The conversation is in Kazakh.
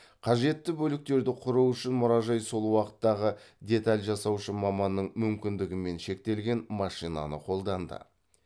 қажетті бөліктерді құру үшін мұражай сол уақыттағы деталь жасаушы маманның мүмкіндігімен шектелген машинаны қолданды